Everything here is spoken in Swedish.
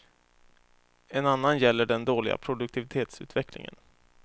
En annan gäller den dåliga produktivitetsutvecklingen.